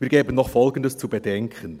Wir geben noch Folgendes zu bedenken: